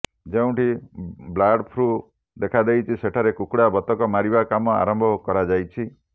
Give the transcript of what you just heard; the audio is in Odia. ଯେଉଁଠି ବ୍ଳାର୍ଡ ଫ୍ଲୁ ଦେଖାଦେଇଛି ସେଠାରେ କୁକୁଡା ବତକ ମାରିବା କାମ ଆରମ୍ଭ କରାଯାଇଛି